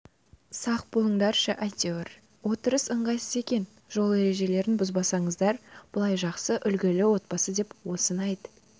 сақ болыңдаршы әйтеуір отырыс ыңғайсыз екен жол ережелерін бұзбасаңыздар былай жақсы үлгілі отбасы деп осыны айт